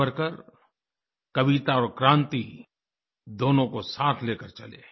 सावरकर कविता और क्रांति दोनों को साथ लेकर चले